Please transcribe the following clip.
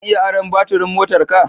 Zan iya aron baturin motarka?